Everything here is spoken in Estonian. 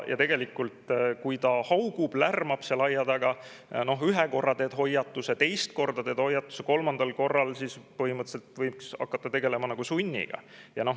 Ja tegelikult, kui ta haugub, lärmab seal aia taga, siis noh, ühe korra teed hoiatuse, teist korda teed hoiatuse, kolmandal korral põhimõtteliselt võiks hakata tegelema sunniga.